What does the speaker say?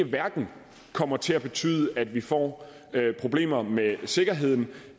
hverken kommer til at betyde at vi får problemer med sikkerheden